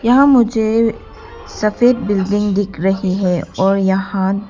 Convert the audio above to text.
यहां मुझे सफेद बिल्डिंग दिख रही है और यहां--